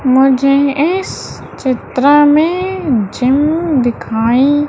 मुझे इस चित्र में जिम दिखाई--